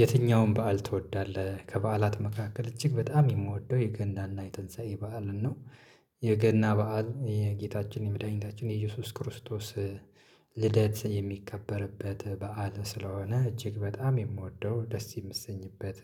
የትኛውም በዓል ትወዳለህ ከበዓላት መካከል እጅግ በጣም የምወደው የገና እና የትንሳኤ በዓል ነው። የገና በዓል የጌታችን የመድኃኒታችን የኢየሱስ ክርስቶስ ልደት የሚከበርበት በዓል ስለሆነ እጅግ በጣም የምወደው ደስ የምትሰኝበት